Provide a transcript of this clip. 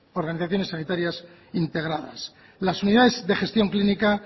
organizaciones sanitarias integradas las unidades de gestión clínica